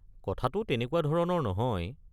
কথাটো তেনেকুৱা ধৰণৰ নহয়।